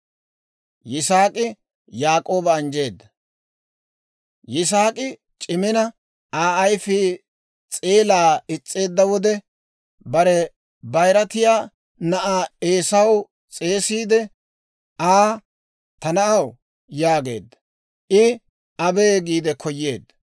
Yisaak'i c'imina, Aa ayfii s'eelaa is's'eedda wode, bare bayiratiyaa na'aa Eesaa s'eesiide Aa, «Ta na'aw» yaageedda. I, «Abee» giide koyeedda.